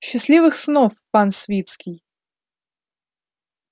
счастливых снов пан свицкий